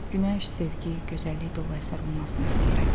Günəş, sevgi, gözəllik dolu əsər olmasını istəyirəm.